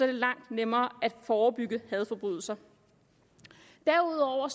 det langt nemmere at forebygge hadforbrydelser derudover